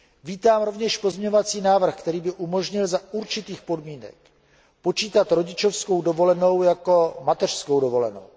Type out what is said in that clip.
Vítám rovněž pozměňovací návrh, který by umožnil za určitých podmínek počítat rodičovskou dovolenou jako mateřskou dovolenou.